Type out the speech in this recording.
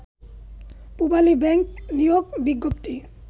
Pubali bank নিয়োগ বিজ্ঞপ্তি